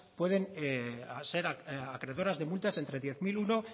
puedes ser acreedoras de multas entre diez mil uno